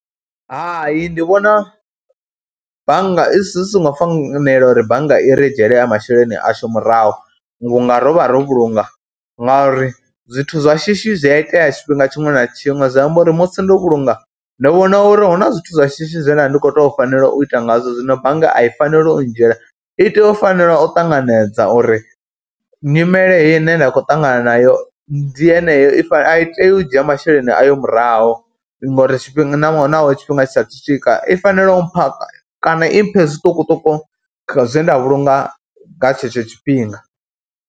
Hai ndi vhona bannga i si songo fanela uri bannga i re dzhiele masheleni ashu murahu vhunga ro vha ro vhulunga, ngauri zwithu zwa shishi zwi a itea tshifhinga tshiṅwe na tshiṅwe. Zwi amba uri musi ndo vhulunga, ndi vhona uri hu na zwithu zwa shishi zwe nda vha ndi khou tou fanela u ita ngazwo zwino bannga a i faneli u ndzhiela, i tea u fanela u ṱanganedza uri nyimele heyi ine nda khou ṱangana nayo ndi yeneyo, a i tei u dzhia masheleni ayo murahu ngauri tshifhinga na tshifhinga tshi saathu swika, i fanela u mpha kana i mphe zwiṱukuṱuku zwe nda vhulunga nga tshetsho tshifhinga.